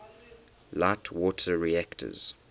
light water reactors